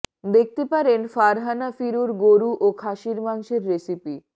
দেখতে পারেন ফারহানা ফিরুর গরু ও খাসির মাংসের রেসিপি